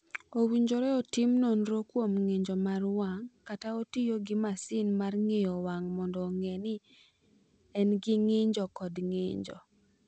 "Owinjore otim nonro kuom ng’injo mar wang’ ka otiyo gi masin mar ng’iyo wang’ mondo ong’e ni en gi ng’injo kod ng’injo."